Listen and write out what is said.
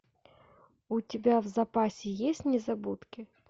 у тебя в запасе есть незабудки